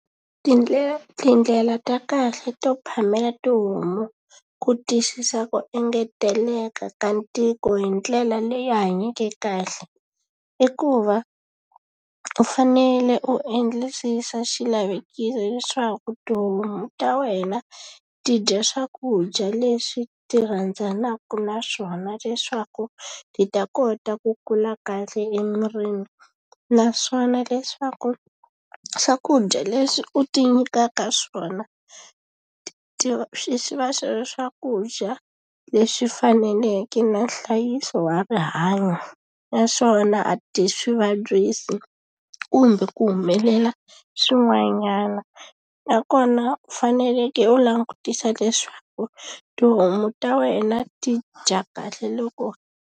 tindlela ta kahle to phamela tihomu ku tiyisisa ku engeteleka ka ntiko hi ndlela leyi hanyeke kahle i ku va u fanele u endlisisa leswaku tihomu ta wena ti dya swakudya leswi ti rhandzanaka na swona leswaku ti ta kota ku kula kahle emirini naswona leswaku swakudya leswi u ti nyikaka swona ti swi va swi ri swakudya leswi faneleke na nhlayiso wa rihanyo naswona a ti swi vabyisi kumbe ku humelela swin'wanyana nakona u faneleke u langutisa leswaku tihomu ta wena ti dya kahle loko.